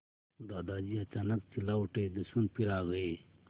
दादाजी अचानक चिल्ला उठे दुश्मन फिर आ गए